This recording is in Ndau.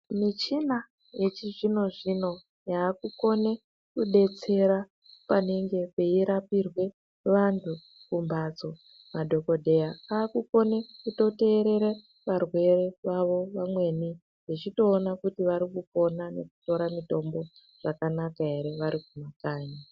Michina yechizvino zvino yakukone kudetsera panenge peirapirwe vantu kumphatso. Madhokodheya akukona kutoteerera varwere vavo vamweni vechitoona kuti vari kupona nekutora mitombo zvakanaka ere vari kumakanyi.